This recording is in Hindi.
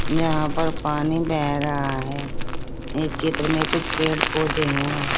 यहां पर पानी बह रहा है इस चित्र में कुछ पेड़ पौधे हैं।